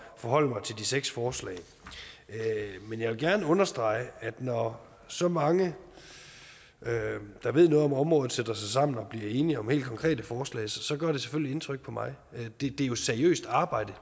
forholde mig til de seks forslag men jeg vil gerne understrege at når så mange der ved noget om området sætter sig sammen og bliver enige om helt konkrete forslag gør det selvfølgelig indtryk på mig det er jo seriøst arbejde